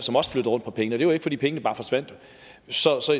på pengene det var ikke fordi pengene bare forsvandt så så